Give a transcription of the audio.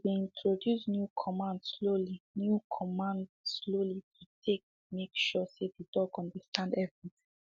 he been introduce new command slowly new command slowly to take make sure say the dog understand everything